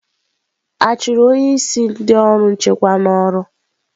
A chụrụ onye isi ndị ọrụ nchekwa n'ọrụ?